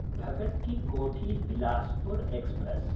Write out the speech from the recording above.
भगत् कि कोठी–बिलासपुर् एक्स्प्रेस्